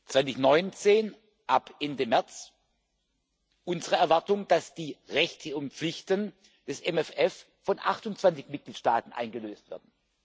2019 ab Ende März unsere Erwartung, dass die Rechte und Pflichten des MFR von 28 Mitgliedstaaten eingelöst werden.